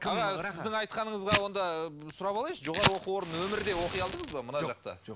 аға сіздің айтқаныңызға онда сұрап алайыншы жоғары оқу орнын өмірде оқи алдыңыз ба мына жақта жоқ